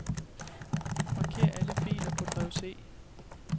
Marker alle filer på drev C.